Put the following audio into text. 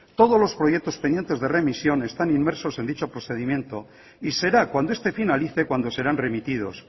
todos los proyectos pendientes de remisión están inmersos en dicho procedimientos y será cuando este finalice cuando serán remitidos